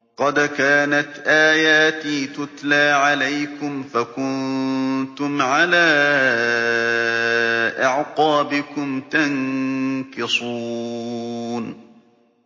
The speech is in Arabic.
قَدْ كَانَتْ آيَاتِي تُتْلَىٰ عَلَيْكُمْ فَكُنتُمْ عَلَىٰ أَعْقَابِكُمْ تَنكِصُونَ